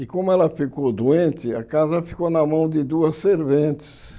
E como ela ficou doente, a casa ficou na mão de duas serventes.